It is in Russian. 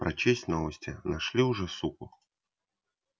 прочесть новости нашли уже суку